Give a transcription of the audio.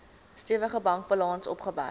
stewige bankbalans opgebou